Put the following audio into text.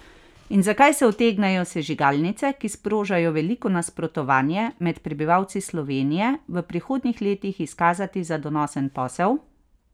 In zakaj se utegnejo sežigalnice, ki sprožajo veliko nasprotovanje med prebivalci Slovenije, v prihodnjih letih izkazati za donosen posel?